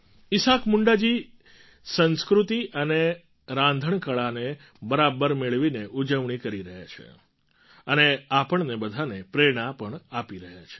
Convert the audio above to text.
ઈસાક મુંડા જી સંસ્કૃતિ અને રાંધણકળાને બરાબર મેળવીને ઉજવણી કરી રહ્યા છે અને આપણને બધાંને પ્રેરણા પણ આપી રહ્યા છે